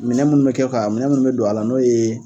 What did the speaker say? Minɛn munnu bɛ kɛ ka minɛn munnu bɛ don a la n'o ye